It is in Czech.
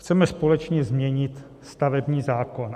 Chceme společně změnit stavební zákon.